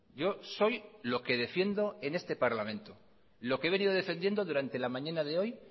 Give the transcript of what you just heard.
yo soy lo que defiendo en este parlamento lo que he venido defendiendo durante la mañana de hoy